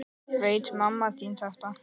Veit mamma þín þetta?